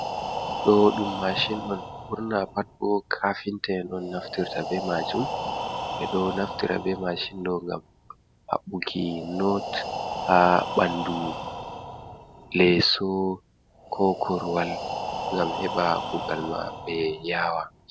Ɗo dum mashin on burna pat bo kafinta en on naftirta be majum, ɓe ɗo naftira be mashin ɗo gam habbuki not ha bandu leso, ko koruwal gam heba kugal maɓɓe yawa.